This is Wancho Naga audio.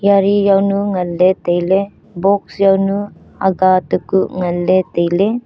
yari yawnu nganley tailey box yawnu aga takuh nganley tailey.